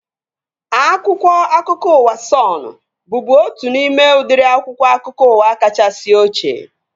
Akwụkwọ akụkọ ụwa Sọnụ bụbu otu n'ime udịri akwụkwọ akụkọ ụwa kachasị ochie